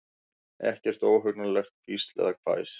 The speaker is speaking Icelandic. Ekkert óhugnanlegt hvísl eða hvæs.